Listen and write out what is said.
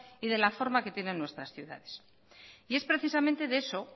y de la forma que tienen nuestras ciudades y es precisamente de eso